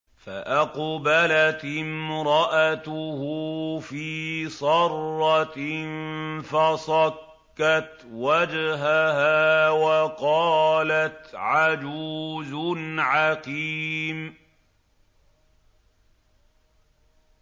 فَأَقْبَلَتِ امْرَأَتُهُ فِي صَرَّةٍ فَصَكَّتْ وَجْهَهَا وَقَالَتْ عَجُوزٌ عَقِيمٌ